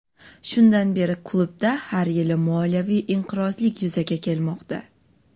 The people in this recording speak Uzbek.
Shundan beri klubda har yili moliyaviy inqirozlik yuzaga kelmoqda.